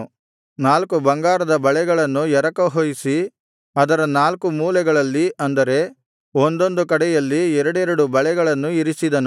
ನಾಲ್ಕು ಬಂಗಾರದ ಬಳೆಗಳನ್ನು ಎರಕಹೊಯಿಸಿ ಅದರ ನಾಲ್ಕು ಮೂಲೆಗಳಲ್ಲಿ ಅಂದರೆ ಒಂದೊಂದು ಕಡೆಯಲ್ಲಿ ಎರಡೆರಡು ಬಳೆಗಳನ್ನು ಇರಿಸಿದನು